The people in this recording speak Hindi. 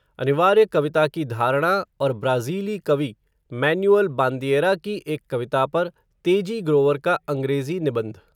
अनिवार्य कविता की धारणा, और ब्राज़ीली कवि, मैनुएल बान्दिएरा की एक कविता पर, तेजी ग्रोवर का अंग्रेज़ी निबंध